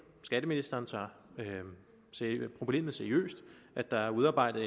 og skatteministeren tager problemet seriøst at der er udarbejdet